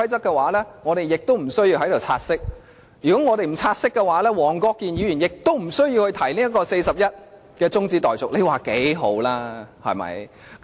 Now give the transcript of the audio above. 如果我們無需辯論"察悉議案"的話，黃國健議員亦不需要根據第401條提出中止待續議案，你說有多好？